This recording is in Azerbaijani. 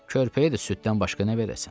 Körpəyə də süddən başqa nə verəsən?